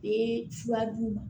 Ee furadu